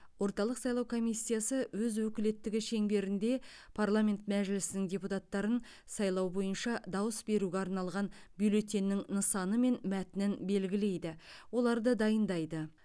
орталық сайлау комиссиясы өз өкілеттігі шеңберінде парламент мәжілісінің депутаттарын сайлау бойынша дауыс беруге арналған бюллетеннің нысаны мен мәтінін белгілейді оларды дайындайды